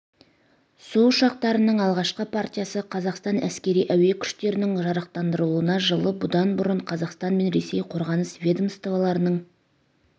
су ұшақтарының алғашқы партиясы қазақстан әскери-әуе күштерінің жарақтандырылуына жылы бұдан бұрын қазақстан мен ресей қорғаныс ведомстволарының